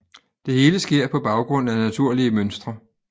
Det hele sker på baggrund af naturlige mønstre